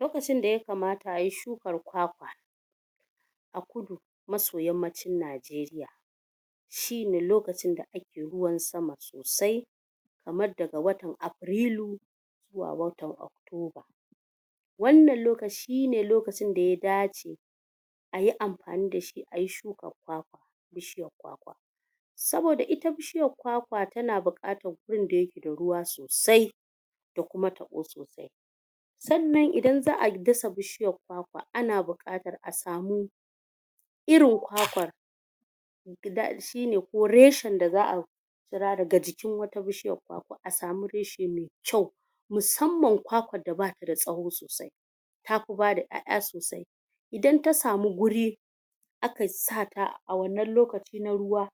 lokacin da yakamata ayi shukan kwa a kudu maso yammacin najeriya shine lokacin da ake ruwan sama sosai kaman daga watan afirilu zuwa watan oktoba wannan lokaci ne lokacin da ya ayi amfani da shi ayi shukan kwa saboda ita bishiyan kwa kwa tana buƙatan gun da yake da ruwa sosai da kuma taɓo sannan idan za'a dasa bishiyan kwa kwa ana buƙatar a samu irin hakan guda biyu ne ko reshen da za'a yi saura daga jikin wata bishiyan tata a samu reshe mai kyau musamman taka da batada tsauri sosai tafi bada ƴa'ƴa sosai idan ta samu guri aka sata a wannan lokacin ruwa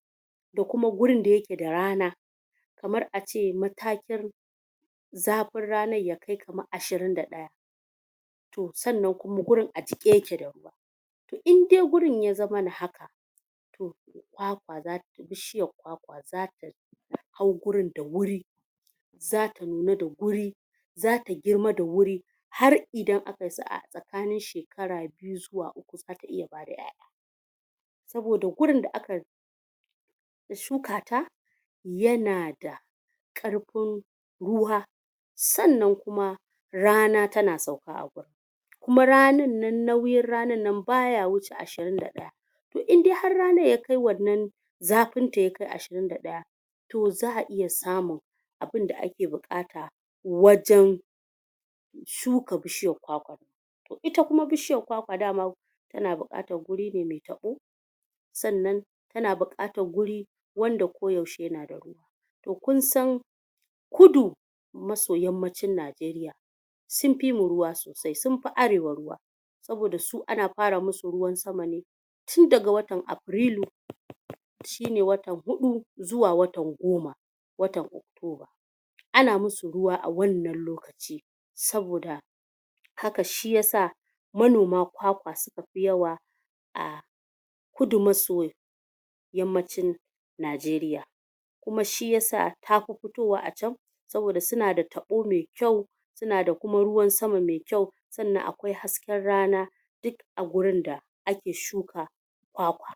ko kuma gurin dake rana kamar ace matakin zafin ranar bazai kai ashirin da ɗaya sannan gurin a jiƙe yake da ruwa indai gurin ya zamana haka kwakwa zata fi bishiyar kwakwa anyi shirin da wuri zasu nemi da wuri zasu girma da wuri har idan akayi sa'a tsakanin shekara biyu zuwa zasu iya bada ƴa'ƴa saboda gurin da akayi dashi kakan yana da ƙarfin ruwa sannan kuma rana tana sauka akai kuma ranan nan nauyin ranan nan baya wuce ashirin da hudu to indai har ranan yakai wannan zafinta yafi ashirin da ɗaya to za'a iya samu abinda ake bukata wajen shuka bishiyan kwakwa ita kuma bishiyar kwakwa daman tana da bukatan gurin da mai taɓo sannan tana bukatar wuri wanda ko yaushe ne to kinsan kudu maso yammacin nigeriya sunfi mu ruwa sosai sunfi arewa ruwa saboda su ana fara musu ruwan sama ne tun daga watan afirilu shine watan hudu zuwa watan goma watan uku ana musu ruwa a wannan lokacin saboda haka shiyasa manoman kwakwa sunfi yawa a kudu maso yammacin nigeriya kuma shiyasa tafi fitowa a can saboda suna da taɓo mai kyau suna da kuma ruwan sama mai kyau sannan akwai hasken rana duk a gurinda ake shuka kwakwa